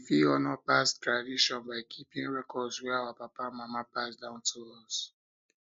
we fit honour past fit honour past tradition by keeping records wey our papa and mama pass down to us